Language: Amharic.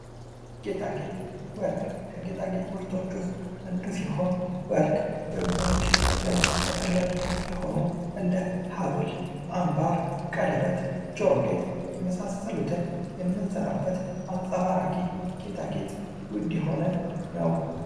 ጌጣጌጥ ወርቅ ከጌጣጌጥ ምርቶች ዉስጥ አንዱ ሲሆን ወርቅ በብዙዎች ዘንድ ተፈላጊ የሆኑ እንደ ሃብል አንባር ጆሮ ጌጥ የመሳሰሉትን የምንሰራበት አንጸባራቂ ጌጣጌጥ ዉድ የሆነ ነው።